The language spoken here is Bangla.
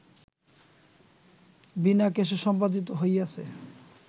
বিনা কেশে সম্পাদিত হইয়াছে